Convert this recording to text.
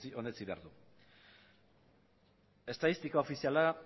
onetsi behar du estatistika ofiziala